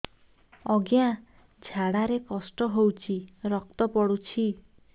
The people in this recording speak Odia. ଅଜ୍ଞା ଝାଡା ରେ କଷ୍ଟ ହଉଚି ରକ୍ତ ପଡୁଛି